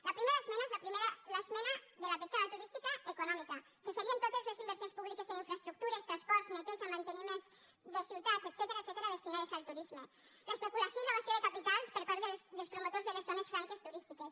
la primera esmena és l’esmena de la petjada turística econòmica que serien totes les inversions públiques en infraestructures transports neteja manteniment de ciutats etcètera destinades al turisme l’especulació i l’evasió de capitals per part dels promotors de les zones franques turístiques